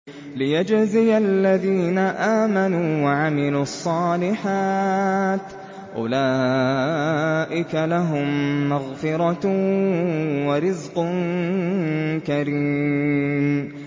لِّيَجْزِيَ الَّذِينَ آمَنُوا وَعَمِلُوا الصَّالِحَاتِ ۚ أُولَٰئِكَ لَهُم مَّغْفِرَةٌ وَرِزْقٌ كَرِيمٌ